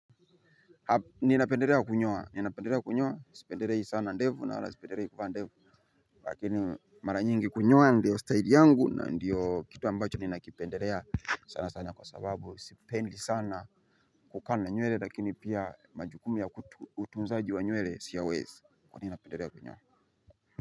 Ninapendelea kunyoa ninapendelea kunyoa sipendelei sana ndevu na wala sipendelei kuvaa ndevu lakini mara nyingi kunyoa ndiyo style yangu na ndiyo kitu ambacho ninakipendelea sana sana kwa sababu sipendi sana kukaa na nywele lakini pia majukumu ya utunzaji wa nywele siyawezi kwani napendelea kunyoa.